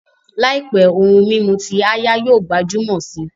Làìpé, ohun mímu ti áyá yóò gbajúmọ̀ si